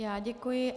Já děkuji.